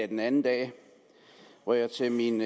den anden dag hvor jeg til min